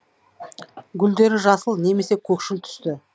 гүлдері жасыл немесе көкшіл түсті